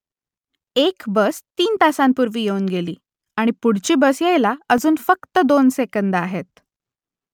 एक बस तीन तासांपूर्वी येऊन गेली आणि पुढची बस यायला अजून फक्त दोन सेकंदं आहेत